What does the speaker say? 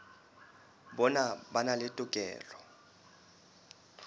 bona ba na le tokelo